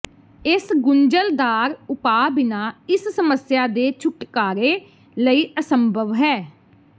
ਇਹ ਗੁੰਝਲਦਾਰ ਉਪਾਅ ਬਿਨਾ ਇਸ ਸਮੱਸਿਆ ਦੇ ਛੁਟਕਾਰੇ ਲਈ ਅਸੰਭਵ ਹੈ